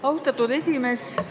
Austatud esimees!